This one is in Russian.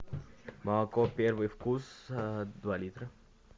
молоко первый вкус два литра